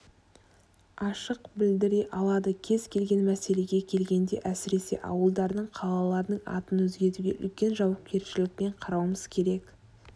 ашық білдіре алады кез-келген мәселеге келгенде әсіресе ауылдардың қалалардың атын өзгертуге үлкен жауапкершілікпен қарауымыз керек